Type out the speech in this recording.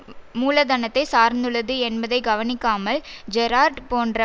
வரும் மூலதனத்தைச் சார்ந்துள்ளது என்பதை கவனிக்காமல் ஜெரார்டு போன்ற